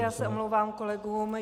Já se omlouvám kolegům.